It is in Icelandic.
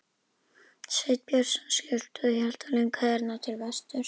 Sveinn Björnsson skyrpti og hélt á lyngheiðarnar til vesturs.